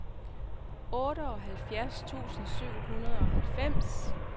otteoghalvfjerds tusind syv hundrede og halvfems